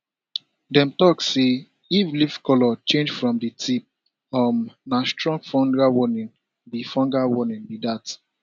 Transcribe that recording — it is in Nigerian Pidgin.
dem talk say if leaf colour change from di tip um na strong fungal warning be fungal warning be dat